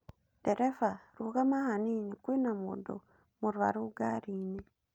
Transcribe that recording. Ndereba, rũgama hanini. Kwina mũndũ mũrũaru ngari-inĩ.